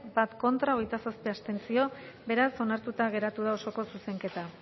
bat contra hogeita zazpi abstentzio beraz onartuta geratu da osoko zuzenketa